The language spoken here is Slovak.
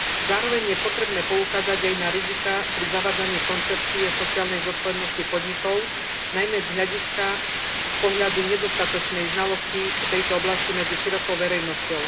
Zároveň je potrebné poukázať aj na riziká pri zavádzaní koncepcie sociálnej zodpovednosti podnikov najmä z pohľadu nedostatočnej znalosti tejto oblasti medzi širokou verejnosťou.